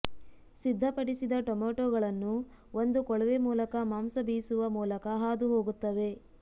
ಸಿದ್ಧಪಡಿಸಿದ ಟೊಮೆಟೊಗಳನ್ನು ಒಂದು ಕೊಳವೆ ಮೂಲಕ ಮಾಂಸ ಬೀಸುವ ಮೂಲಕ ಹಾದು ಹೋಗುತ್ತವೆ